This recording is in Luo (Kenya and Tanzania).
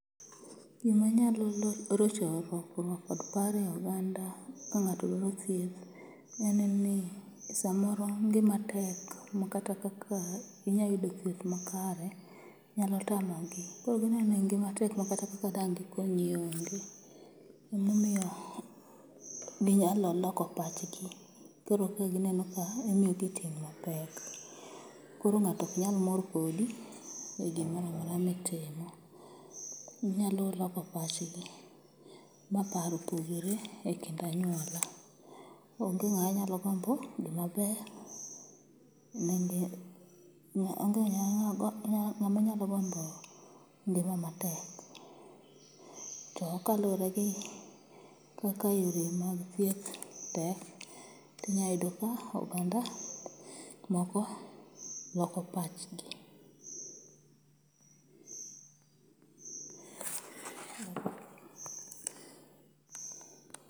Gima nyalo rocho rakruok kod paro e oganda ka ng'ato dwaro thieth, en ni samoro ngima tek ma kata kaka inyayudo thieth makare nyalo tamogi. Koro gineno ni ngima tek ma kata dang' gikonyi onge. Emomiyo ginyalo loko pachgi, koro ka gineno ka imiyogi ting' mapek, koro ng'ato ok nyal mor kodi e gimoramora mitimo. Manyalo loko pachgi ma paro pogre e kind anyuola. Onge ng'aa nyalo gombo gima ber ne ngi, onge ng'ama nyalo gombo ngima matek, to kaluworegi kaka yore mag thieth tek, tinyayudo ka oganda moko loko pachgi.